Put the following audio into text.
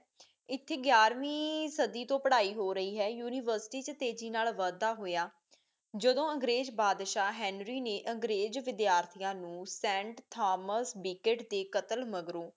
ਏਥੀ ਗਿਆਰਵੀਂ ਸਦੀਂ ਤੋ ਪੜਾਈ ਹੋ ਰਾਇ ਹੈ university ਤੇਜ਼ੀ ਨਾਲ ਵਾਦ ਦਾ ਹੋਇਆਂ ਜਦੋਂ ਅੰਗ੍ਰੇਜ਼ ਬਦਸ਼ਾ ਹੇਨਰੀ ਨੀ ਅੰਗ੍ਰੇਜ਼ ਵਿਦਿਆਰਥੀਆਂ ਨੂੰ ਸੈਂਟ ਥਾਮੋਸ ਬੀਕੇਟ ਦੇ ਕਤਲ ਮਗਰੋਂ